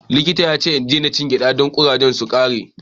Likita ya ce na rage cin gyaɗa saboda ƙurajen su ragu.